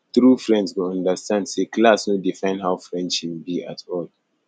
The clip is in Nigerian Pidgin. true friends go understand say class no define how friendship be at all